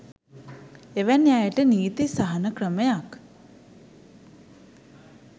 එවැනි අයට නීති සහන ක්‍රමයක්